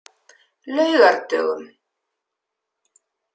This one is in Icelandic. laugardögum